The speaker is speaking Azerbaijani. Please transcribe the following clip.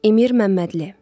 Emir Məmmədli.